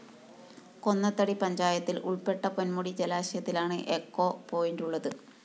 കൊന്നത്തടി പഞ്ചായത്തില്‍ ഉള്‍പ്പെട്ട പൊന്മുടി ജലാശയത്തിലാണ് എച്ചോ പോയിന്റുള്ളത്